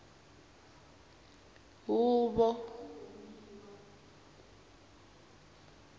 huvo